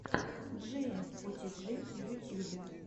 джиэмфотиджи в ютьюбе